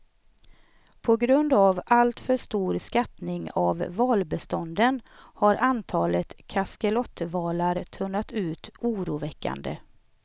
På grund av alltför stor skattning av valbestånden har antalet kaskelotvalar tunnat ut oroväckande.